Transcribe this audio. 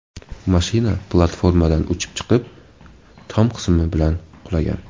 Mashina platformadan uchib chiqib, tom qismi bilan qulagan.